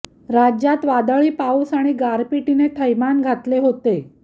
राज्यात वादळी पाऊस आणि गारपीटने थैमान घातले होते